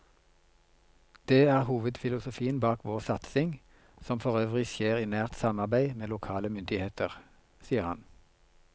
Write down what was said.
Det er hovedfilosofien bak vår satsing, som forøvrig skjer i nært samarbeid med lokale myndigheter, sier han.